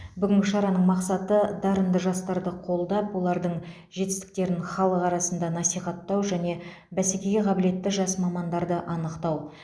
бүгінгі шараның мақсаты дарынды жастарды қолдап олардың жетістіктерін халық арасында насихаттау және бәсекеге қабілетті жас мамандарды анықтау